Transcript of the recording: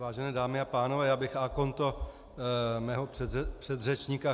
Vážené dámy a pánové, já bych a konto mého předřečníka.